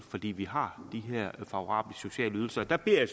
fordi vi har de her favorable sociale ydelser der beder jeg